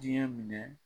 Diɲɛ minɛ